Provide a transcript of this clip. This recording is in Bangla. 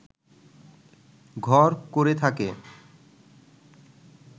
ঘর করে থাকে